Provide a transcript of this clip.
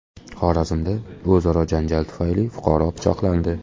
Xorazmda o‘zaro janjal tufayli fuqaro pichoqlandi.